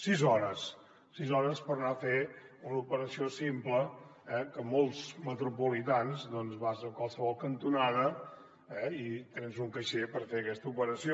sis hores sis hores per anar a fer una operació simple que molts metropolitans doncs vas a qualsevol cantonada eh i tens un caixer per fer aquesta operació